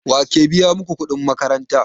Wake biya maku kuɗin makaranta?